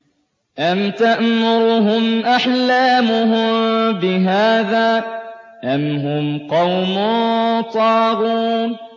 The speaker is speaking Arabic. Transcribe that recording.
أَمْ تَأْمُرُهُمْ أَحْلَامُهُم بِهَٰذَا ۚ أَمْ هُمْ قَوْمٌ طَاغُونَ